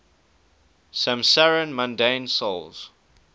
'samsarin mundane souls